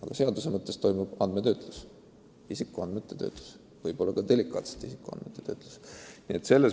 Aga seadus reguleerib nende osaliselt ka delikaatsete isikuandmete töötlust.